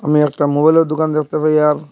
আমি একটা মোবাইলের দুকান দেখতে পাই আর--